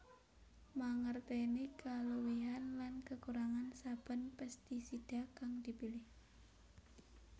Mangertèni kaluwihan lan kekurangan saben pestisida kang dipilih